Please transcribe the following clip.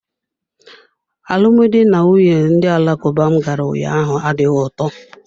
Alụmdi na nwunye ndị Alakuba m gara ụnyaahụ adịghị ụtọ.